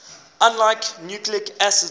unlike nucleic acids